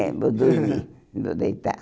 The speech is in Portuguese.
Vou deitar É, vou dormir.